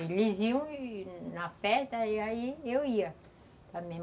Eles iam na festa e aí eu ia também